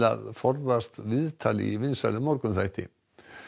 að forðast viðtal í vinsælum morgunþætti